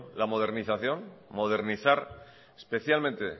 la modernización modernizar especialmente